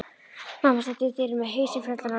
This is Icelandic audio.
Mamma stendur í dyrunum með hausinn fullan af rúllum.